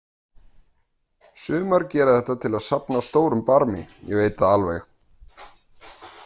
Sumar gera þetta til að safna stórum barmi, ég veit það alveg.